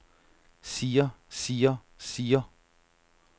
siger siger siger